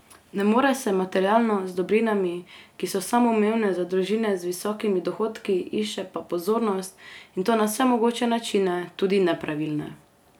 Ne more se materialno, z dobrinami, ki so samoumevne za družine z visokimi dohodki, išče pa pozornost, in to na vse mogoče načine, tudi nepravilne.